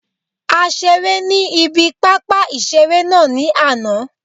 A seré ní ibi pápá ìseré náà ní àná